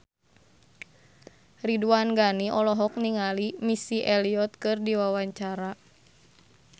Ridwan Ghani olohok ningali Missy Elliott keur diwawancara